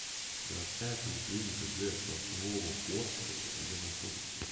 городская поликлиника г сосновоборска где находится